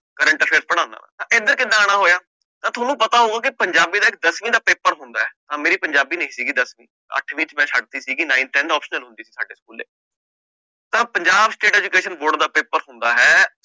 Current affair ਪੜ੍ਹਾਉਂਨਾ ਵਾਂ ਤਾਂ ਇੱਧਰ ਕਿੱਦਾਂ ਆਉਣਾ ਹੋਇਆ ਤਾਂ ਤੁਹਾਨੂੰ ਪਤਾ ਹੋਊ ਕਿ ਪੰਜਾਬੀ ਦਾ ਇੱਕ ਦਸਵੀਂ ਦਾ ਪੇਪਰ ਹੁੰਦਾ ਹੈ ਮੇਰੀ ਪੰਜਾਬੀ ਨੀ ਸੀਗੀ ਦਸ ਅੱਠਵੀਂ ਚ ਮੈਂ ਛੱਡ ਦਿੱਤੀ ਸੀਗੀ nine, ten ਸਾਡੇ ਸਕੂਲੇ ਤਾਂ ਪੰਜਾਬ state education board ਦਾ ਪੇਪਰ ਹੁੰਦਾ ਹੈ